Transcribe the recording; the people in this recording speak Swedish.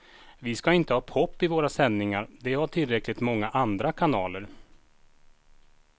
Vi ska inte ha pop i våra sändningar, det har tillräckligt många andra kanaler.